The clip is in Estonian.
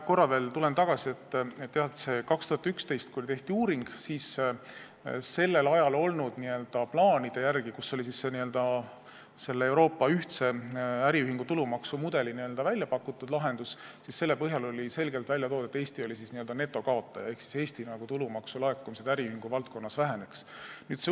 Ma korra veel tulen tagasi selle juurde, et kui 2011. aastal tehti uuring, siis sellel ajal olnud plaanide järgi, mis käsitlesid Euroopa ühtse äriühingu tulumaksu mudelit, oli selgelt välja toodud, et Eesti oli n-ö netokaotaja ehk Eesti tulumaksulaekumised äriühingu valdkonnas oleksid vähenenud.